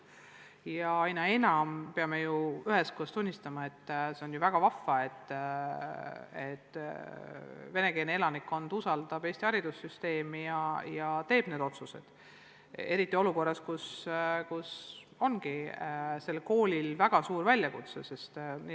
Aga aina enam peame ju üheskoos tunnistama, et see on ju väga vahva, et venekeelne elanikkond usaldab Eesti haridussüsteemi ja teeb just selliseid otsuseid, kuigi see esitab koolidele väga suuri väljakutseid.